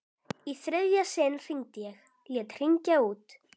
Í þriðja sinn hringdi ég, lét hringja út.